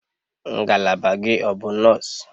Ngalaba gị ọ bụ nọọsụ?